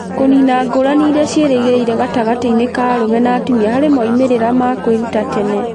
Kũniina ngũrani iria ciĩrĩgĩrĩire gatagatĩ-inĩ ka arũme na atumia harĩ moimĩrĩro ma kwĩruta tene